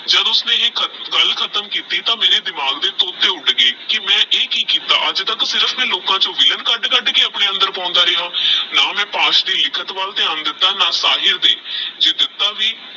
ਜਦੋ ਉਸਨੇ ਇਹ ਖਤ ਗੱਲ ਖਤਮ ਕੀਤੀ ਤਾ ਮੇਰੇ ਦਿਮਾਗ ਦੇ ਤੋਤੇ ਉਡ ਗਏ ਕੀ ਮੈ ਇਹ ਕੀ ਕਿੱਤਾ ਅੱਜ ਤਕ ਫ਼ਿਲਮ ਦੇ ਲੋਕਾ ਚੋ ਵਿਲੇਨ ਕਦ ਕਦ ਕੇ ਅਪਨ੍ਵੇ ਅੰਦਰ ਪਾਉਂਦਾ ਰੇਯਾ ਨਾ ਮੈ ਪਾਸਟ ਵਿਚ ਲਿਖਤ ਵੱਲ ਧਿਆਨ ਵਲ ਦਿੱਤਾ ਨਾ ਸ਼ਹਿਰ ਦੇ ਜੇ ਦਿੱਤਾ ਵੀ